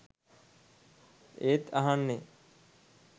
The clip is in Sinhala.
ඒත් අහන්නේ